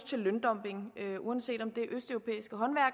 til løndumping uanset om det